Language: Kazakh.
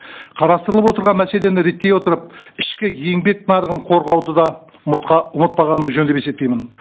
қарастырылып отырған мәселені реттей отырып ішкі еңбек нарығын қорғауды да ұмытпағанымыз жөн деп есептеймін